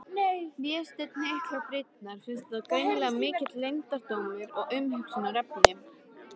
Vésteinn hnyklar brýnnar, finnst þetta greinilega mikill leyndardómur og umhugsunarefni.